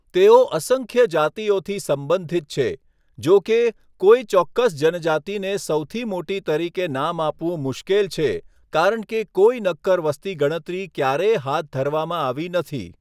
તેઓ અસંખ્ય જાતિઓથી સંબંધિત છે. જો કે, કોઈ ચોક્કસ જનજાતિને સૌથી મોટી તરીકે નામ આપવું મુશ્કેલ છે કારણ કે કોઈ નક્કર વસ્તી ગણતરી ક્યારેય હાથ ધરવામાં આવી નથી.